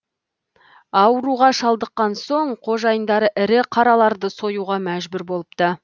ауруға шалдыққан соң қожайындары ірі қараларды союға мәжбүр болыпты